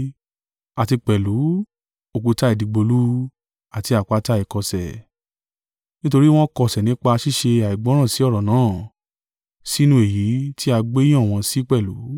àti pẹ̀lú, “Òkúta ìdìgbòlù, àti àpáta ìkọ̀sẹ̀.” Nítorí wọ́n kọsẹ̀ nípa ṣíṣe àìgbọ́ràn sí ọ̀rọ̀ náà, sínú èyí tí a gbé yàn wọ́n sí pẹ̀lú.